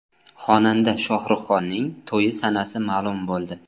Xonanda Shohruxxonning to‘yi sanasi ma’lum bo‘ldi .